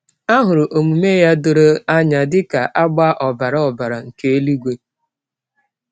A hụrụ omume ya doro anya dịka agba ọbara ọbara nke eluigwe.